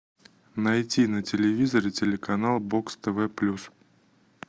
найти на телевизоре телеканал бокс тв плюс